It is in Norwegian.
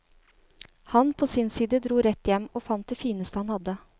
Han, på sin side dro rett hjem, og fant det fineste han hadde.